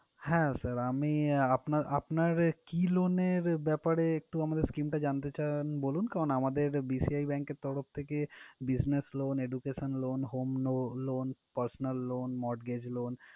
হ্যাঁ sir আমি আহ আপনার আপনার কি loan এর ব্যাপারে একটু scheme টা জানতে চান বলুন, কারণ আমাদের BCIbank এর তরফ থেকে busniess loan, education loan, home no~ loan, personal loan, mortgage loan